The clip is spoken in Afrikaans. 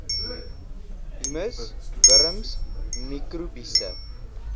humus wurms mikrobiese